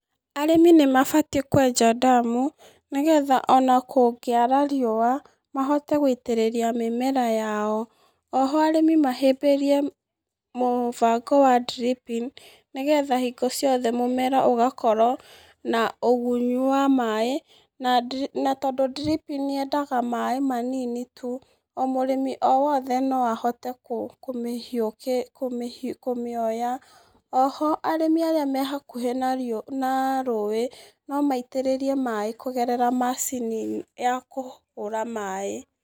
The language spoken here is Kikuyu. Arĩmi nĩ mabatiĩ kwenja ndemu nĩ getha ona kũngĩara rĩũa mahote gũitĩrĩria mĩmera yao. Oho arĩmi mahĩmbĩirie mũbango wa dripping nĩ getha hingo ciothe mũmera ũgakorwo na ũgunyu wa maaĩ, na tondũ dripping yendaga maaĩ manini tu, mũrĩmi o wothe no ahote kũmĩoya. Oho arĩmi arĩa me hakũhĩ na rũũĩ, no maitĩrĩrie maaĩ kũgereramacini ya kũhũra maaĩ.